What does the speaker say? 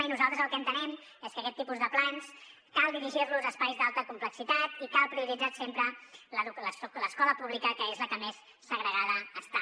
i nosaltres el que entenem és que aquest tipus de plans cal dirigir los a espais d’alta complexitat i cal prioritzar sempre l’escola pública que és la que més segregada està